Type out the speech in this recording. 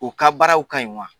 U ka baaraw ka ɲi wa